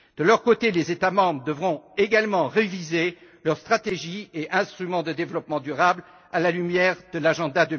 De leur côté, les États membres devront également réviser leurs stratégies et instruments de développement durable, à la lumière de l'agenda